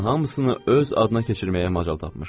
onun hamısını öz adına keçirməyə macal tapmışdı.